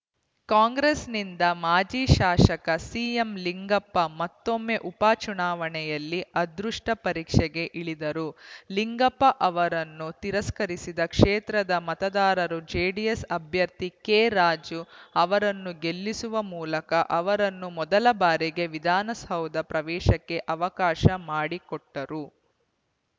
ಕಾಂಗ್ರೆಸ್‌ನಿಂದ ಮಾಜಿ ಶಾಸಕ ಸಿಎಂಲಿಂಗಪ್ಪ ಮತ್ತೊಮ್ಮೆ ಉಪಚುನಾವಣೆಯಲ್ಲಿ ಅದೃಷ್ಟಪರೀಕ್ಷೆಗೆ ಇಳಿದರು ಲಿಂಗಪ್ಪ ಅವರನ್ನು ತಿರಸ್ಕರಿಸಿದ ಕ್ಷೇತ್ರದ ಮತದಾರರು ಜೆಡಿಎಸ್‌ ಅಭ್ಯರ್ಥಿ ಕೆ ರಾಜು ಅವರನ್ನು ಗೆಲ್ಲಿಸುವ ಮೂಲಕ ಅವರನ್ನು ಮೊದಲಬಾರಿಗೆ ವಿಧಾನಸೌಧ ಪ್ರವೇಶಕ್ಕೆ ಅವಕಾಶ ಮಾಡಿಕೊಟ್ಟರು